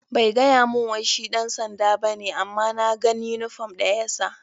Bai gaya mun wai shi ɗan sanɗa ba ne amma na gan uniform ɗa ya sa.